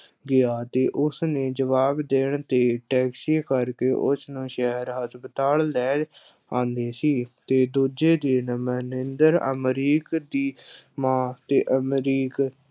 ਗਿਆ ਤੇ ਉਸ ਨੇ ਜੁਆਬ ਦੇਣ ਤੇ ਟੈੱਕਸੀ ਕਰਕੇ ਉਸ ਨੂੰ ਸ਼ਹਿਰ ਹਸਪਤਾਲ ਲੈ ਆਉਂਦਾ ਸੀ ਤੇ ਦੂਜੇ ਦਿਨ ਮਹਿੰਦਰ, ਅਮਰੀਕ ਦੀ ਮਾਂ ਤੇ ਅਮਰੀਕ